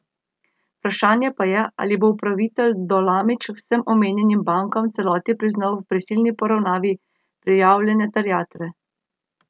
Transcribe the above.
Vprašanje pa je, ali bo upravitelj Dolamič vsem omenjenim bankam v celoti priznal v prisilni poravnavi prijavljene terjatve.